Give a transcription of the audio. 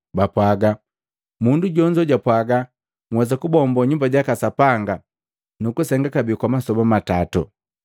bapwaaga, “Mundu jonzo japwaga, ‘Nhwesa kubombo Nyumba jaka Sapanga nukusenga kabee kwa masoba matato.’ ”